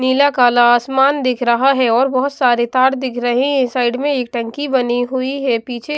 नीला काला आसमान दिख रहा है और बहुत सारे तार दिख रहे हैं साइड में एक टंकी बनी हुई है पीछे --